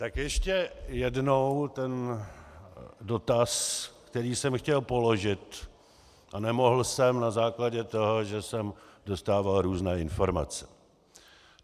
Tak ještě jednou ten dotaz, který jsem chtěl položit, a nemohl jsem na základě toho, že jsem dostával různé informace.